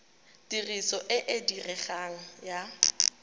tiriso e e diregang ya